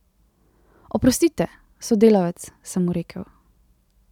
Oprostite, sodelavec, sem mu rekel.